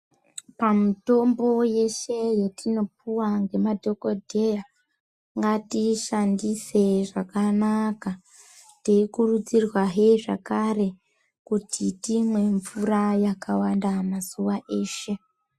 Pamutombo yeshe yatinopuwa ngemadhokodheya ngatishandise zvakanaka teikurudzirwahe zvakare kuti timwe mvura yakawanda mazuwa eshe.